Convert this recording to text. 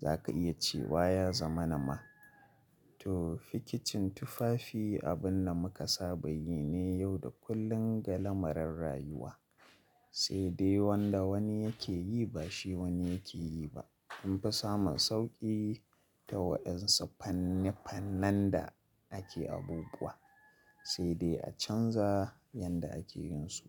za ka iya cewa ya zama na ma. To fikicin tufafi abin da muka saba yi ne yau da kullum ga lamarin rayuwa. Sai dai wanda wani yake yi ba shi wani yake yi ba. An fi samun sauƙi ta waɗansu fanni-fannan da ake abubuwa sai dai a canza yadda ake yin su.